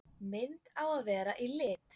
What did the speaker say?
Mynd á að vera í lit.